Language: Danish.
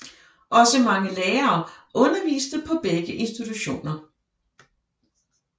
Også mange lærere underviste på begge institutioner